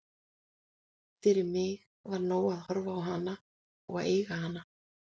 Fyrir mig var nóg að horfa á hana og eiga hana.